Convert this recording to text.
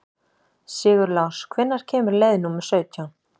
Sigurlás, hvenær kemur leið númer sautján?